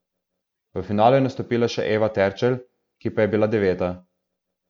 V finalu je nastopila še Eva Terčelj, ki pa je bila deveta.